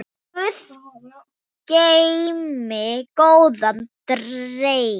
Guð geymi góðan dreng.